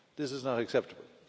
This is not acceptable.